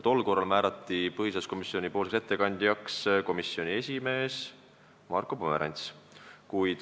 Tol korral määrati ettekandjaks komisjoni esimees Marko Pomerants.